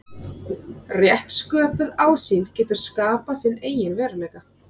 Rétt sköpuð ásýnd getur skapað sinn eigin veruleika.